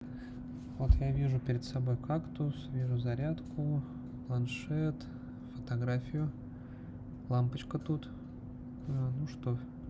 вот я вижу перед собой кактус вижу зарядку планшет фотографию лампочка тут ну что